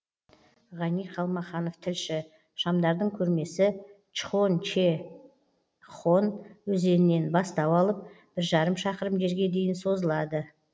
ғани қалмаханов тілші шамдардың көрмесі чхонгечхон өзенінен бастау алып бір жарым шақырым жерге дейін созылады